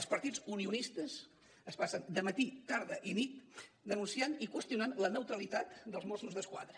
els partits unionistes es passen dematí tarda i nit denunciant i qüestionant la neutralitat dels mossos d’esquadra